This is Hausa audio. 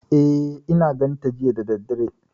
E, I na ganta jiya da daddare.